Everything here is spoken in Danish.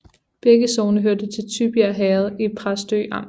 Begge sogne hørte til Tybjerg Herred i Præstø Amt